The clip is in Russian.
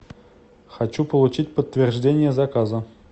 хочу получить подтверждение заказа